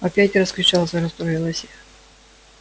опять раскричался расстроилась я